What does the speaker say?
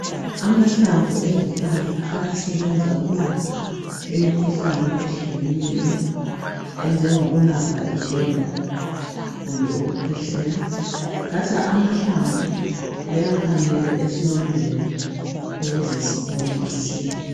Amahlamvu ezihlahla ayasebenza ukulapha imikhuhlane ehlukeneyo enjengokulapha izilonda kumbe ukukhwehlela. Bathatha amahlamvu bewakhamele esilondeni ukuze siphole masinya.